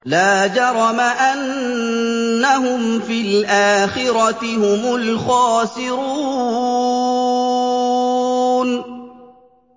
لَا جَرَمَ أَنَّهُمْ فِي الْآخِرَةِ هُمُ الْخَاسِرُونَ